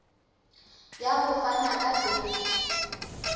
ya ho fana ka beile